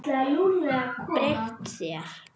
Breytt þér.